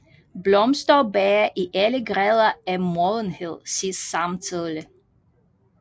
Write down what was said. Blomster og bær i alle grader af modenhed ses samtidig